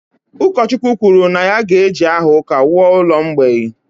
Ụkọchukwu kwuru na ya ga-eji aha ụka wuo ụlọ mgbei